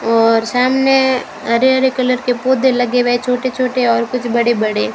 और सामने हरे हरे कलर के पौधे लगे हुए छोटे छोटे और कुछ बड़े बड़े--